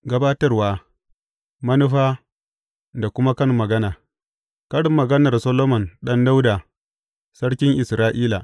Gabatarwa, manufa da kuma kan magana Karin maganar Solomon ɗan Dawuda, sarkin Isra’ila.